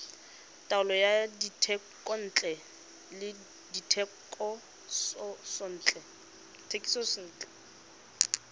taolo ya dithekontle le dithekisontle